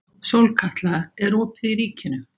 Sólkatla, er opið í Ríkinu?